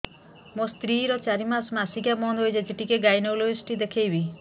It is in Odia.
ମୋ ସ୍ତ୍ରୀ ର ଚାରି ମାସ ମାସିକିଆ ବନ୍ଦ ହେଇଛି ଟିକେ ଗାଇନେକୋଲୋଜିଷ୍ଟ ଦେଖେଇବି